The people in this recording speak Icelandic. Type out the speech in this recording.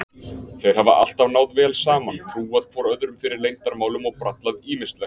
Þeir hafa alltaf náð vel saman, trúað hvor öðrum fyrir leyndarmálum og brallað ýmislegt.